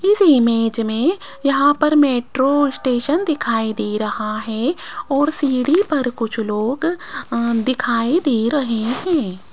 इस इमेज में यहां पर मेट्रो स्टेशन दिखाई दे रहा है और सीढ़ी पर कुछ लोग अह दिखाई दे रहे हैं।